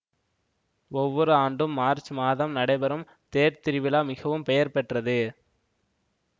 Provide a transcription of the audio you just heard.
ஒவ்வொரு ஆண்டும் மார்ச் மாதம் நடைபெறும் தேர்த்திருவிழா மிகவும் பெயர் பெற்றது